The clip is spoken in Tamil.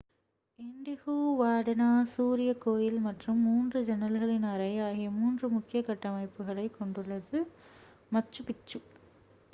இன்டிஹுவாடனா சூரிய கோயில் மற்றும் மூன்று ஜன்னல்களின் அறை ஆகிய மூன்று முக்கிய கட்டமைப்புகளைக் கொண்டுள்ளது மச்சு பிச்சு